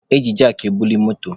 E ji jakị ebuli moto.